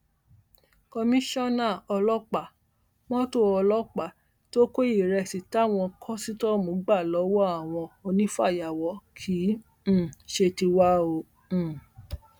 komisanna ọlọpàá mọtò ọlọpàá tó kọ ìrẹsì táwọn kọsítọọmù gbà lọwọ àwọn onífàyàwọ kì um í ṣe tiwa o um